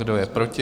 Kdo je proti?